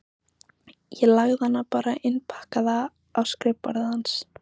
Ég lagði hana bara innpakkaða á skrifborðið hans.